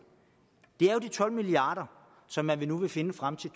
det er jo de tolv milliard kr som man nu vil finde frem til